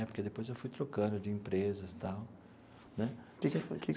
Né porque depois eu fui trocando de empresas e tal né.